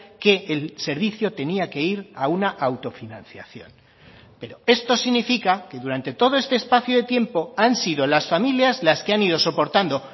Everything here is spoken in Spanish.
que el servicio tenía que ir a una autofinanciación pero esto significa que durante todo este espacio de tiempo han sido las familias las que han ido soportando